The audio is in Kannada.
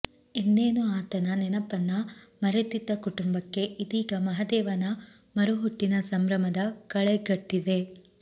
ಇನ್ನೇನು ಆತನ ನೆನಪನ್ನ ಮರೆತಿದ್ದ ಕುಟುಂಬಕ್ಕೆ ಇದೀಗ ಮಹದೇವನ ಮರುಹುಟ್ಟಿನ ಸಂಭ್ರಮದ ಕಳೆಗಟ್ಟಿದೆ